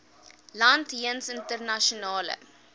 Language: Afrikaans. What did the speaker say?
land jeens internasionale